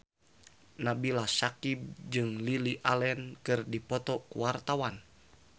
Nabila Syakieb jeung Lily Allen keur dipoto ku wartawan